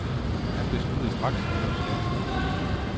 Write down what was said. Han besluttede straks at gøre skaden god igen.